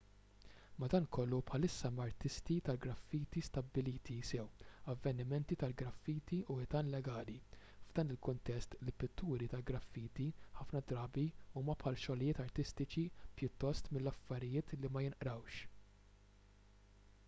madankollu bħalissa hemm artisti tal-graffiti stabbiliti sew avvenimenti tal-graffiti u ħitan legali . f'dan il-kuntest il-pitturi tal-graffiti ħafna drabi huma bħal xogħlijiet artistiċi pjuttost milli affarijiet li ma jinqrawx